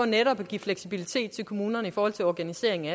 netop at give fleksibilitet til kommunerne i forhold til organiseringen af